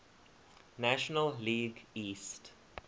national league east